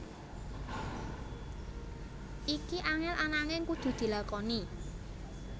Iki angel ananging kudu dilakoni